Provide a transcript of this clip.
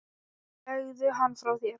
Legðu hann frá þér